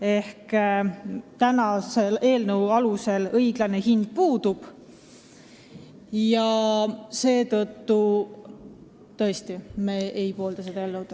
Eelnõu kohaselt jääb õiglane tasu määramata ja seetõttu me ei poolda selle vastuvõtmist.